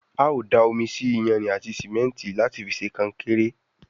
ào dá omí sí iyanrìn àti simẹnti láti fí ṣe konkéré.